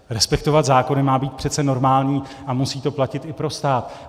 Respektovat zákony má být přece normální a musí to platit i pro stát.